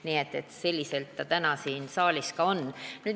Nii et selliselt ta täna siin saalis on.